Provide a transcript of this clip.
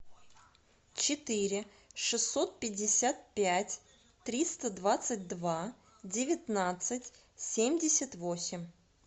четыре шестьсот пятьдесят пять триста двадцать два девятнадцать семьдесят восемь